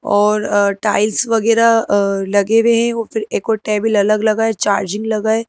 और टाइल्स वगैरह अ लगे हुए हैं और फिर एक और टेबल अलग लगा है चार्जिंग लगा है।